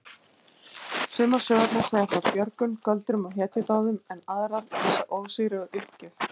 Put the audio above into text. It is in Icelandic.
Sumar sögurnar segja frá björgun, göldrum og hetjudáðum en aðrar lýsa ósigri og uppgjöf.